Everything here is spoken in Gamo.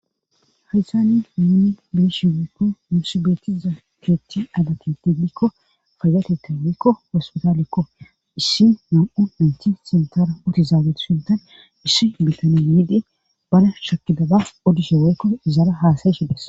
Hadytani muni beeshi wekko musibeeti zaakeeti adaketti dikko fayateta wekko hospitaalekko issi nam7u naynti sintara uti zaabetu sintan issi bitanee yiidee bana shakidaba odishe weykko izaara haasaye hides